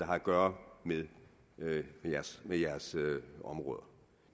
har at gøre med jeres områder